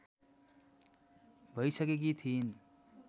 भैसकेकी थिइन्